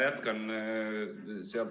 Palun!